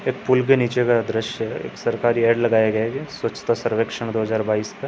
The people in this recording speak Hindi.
ये पूल के नीचे का दॄश्य है। एक सरकारी ऍड लगाए गए वे है स्वछता सर्वेक्षण दो हजार बाइस का।